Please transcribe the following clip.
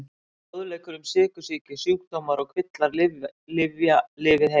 Fróðleikur um sykursýki Sjúkdómar og kvillar Lyfja- Lifið heil.